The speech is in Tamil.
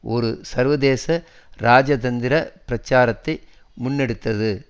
ஒரு சர்வதேச இராஜதந்திர பிரச்சாரத்தை முன்னெடுத்தது